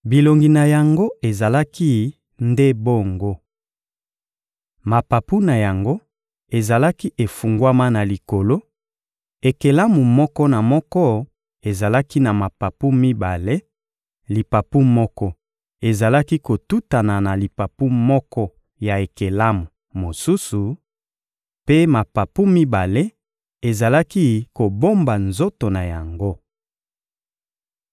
Bilongi na yango ezalaki nde bongo. Mapapu na yango ezalaki efungwama na likolo; ekelamu moko na moko ezalaki na mapapu mibale: lipapu moko ezalaki kotutana na lipapu moko ya ekelamu mosusu; mpe mapapu mibale ezalaki kobomba nzoto na yango.